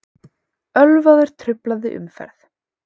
Ölvaður truflaði umferð